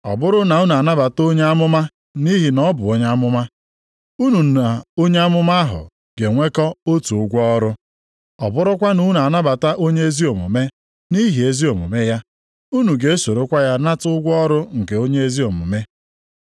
Ọ bụrụ na unu anabata onye amụma nʼihi na ọ bụ onye amụma, unu na onye amụma ahụ ga-enwekọ otu ụgwọ ọrụ. Ọ bụrụkwa na unu anabata onye ezi omume nʼihi ezi omume ya, unu ga-esorokwa ya nata ụgwọ ọrụ nke onye ezi omume.